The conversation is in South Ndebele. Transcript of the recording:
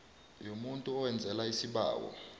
yomuntu owenzelwa isibawo